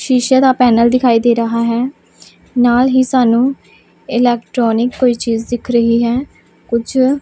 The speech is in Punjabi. ਸ਼ੀਸ਼ੇ ਦਾ ਪੈਨਲ ਦਿਖਾਈ ਦੇ ਰਿਹਾ ਹੈ ਨਾਲ ਹੀ ਸਾਨੂੰ ਇਲੈਕਟ੍ਰੋਨਿਕ ਕੋਇ ਚੀਜ ਦਿੱਖ ਰਹੀ ਹੈ ਕੁਝ--